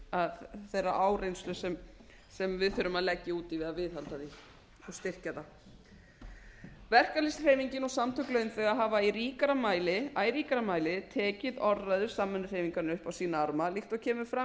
virði þeirrar áreynslu sem við þurfum að leggja út við að viðhalda það og styrkja það verkalýðshreyfingin og samtök launþega hafa í æ ríkara mæli tekið orðræðu samvinnuhreyfingarinnar upp á sína arma líkt og kemur fram í